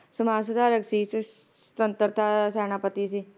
ਸਮਾਜ ਸੁਧਾਰਕ ਸੀ ਤੇਹ ਸਵਤੰਤਰਤਾ ਸੈਨਾਪਤੀ ਸੀ l